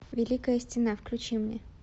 великая стена включи мне